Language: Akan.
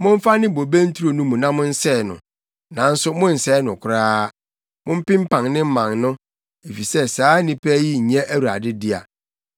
“Momfa ne bobe nturo no mu na monsɛe no, nanso monnsɛe no koraa. Mompempan ne mman no, efisɛ saa nnipa yi nyɛ Awurade dea.